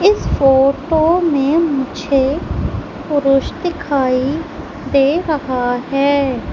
इस फोटो में मुझे पुरुष दिखाई दे रहा है।